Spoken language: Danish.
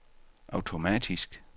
automatisk